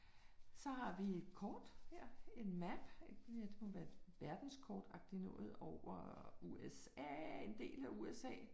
Så har vi et kort her, en map, det må være et verdenskortagtig noget over USA, en del af USA